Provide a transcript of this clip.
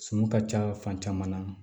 Suman ka ca fan caman na